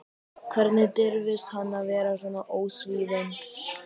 Hvernig dirfist hann að vera svona ósvífinn?